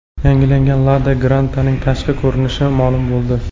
Yangilangan Lada Granta’ning tashqi ko‘rinishi ma’lum bo‘ldi.